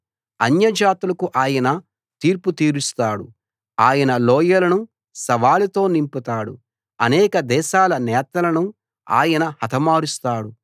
అన్యజాతులకు ఆయన తీర్పు తీరుస్తాడు ఆయన లోయలను శవాలతో నింపుతాడు అనేక దేశాల నేతలను ఆయన హతమారుస్తాడు